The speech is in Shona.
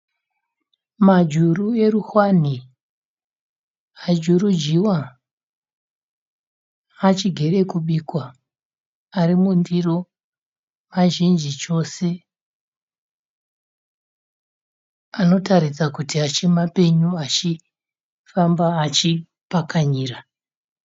Majuru erushwanhi ajurujiwa. Achigere kubikwa ari mundiro mazhinji chose. Anotaridza kuti achi mapenyu achifamba achi pakanyira.